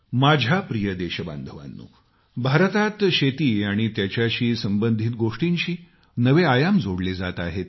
माझ्या प्रिय देशबांधवांनो भारतात शेती आणि त्याच्याशी सबंधित गोष्टींशी नवे आयाम जोडले जात आहेत